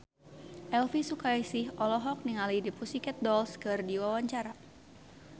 Elvi Sukaesih olohok ningali The Pussycat Dolls keur diwawancara